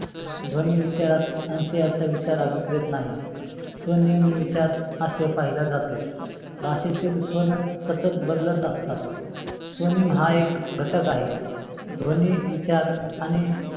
ध्वनी विचारात अंशायाचा विचार काधीक्रीत नाही. स्वनिय्मी विचार पहिला जातो. भाषेतील स्वने सतत बदलत असतात स्वनेम हा एक घटक आहे. ध्वनी विचार आणि